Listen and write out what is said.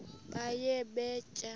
baye bee tyaa